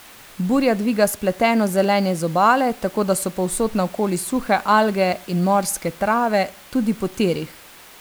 Burja dviga spleteno zelenje z obale, tako da so povsod naokoli suhe alge in morske trave, tudi po tirih.